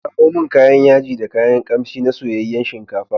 Ki kawo min kayan yaji da kayan kamshi na soyayyen shinkafa.